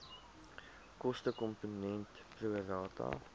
kostekomponent pro rata